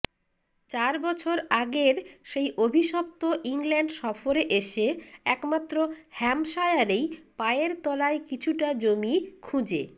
চার বছর আগের সেই অভিশপ্ত ইংল্যান্ড সফরে এসে একমাত্র হ্যাম্পশায়ারেই পায়ের তলায় কিছুটা জমি খুঁজে